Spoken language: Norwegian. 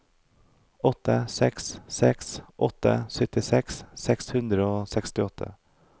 åtte seks seks åtte syttiseks seks hundre og sekstiåtte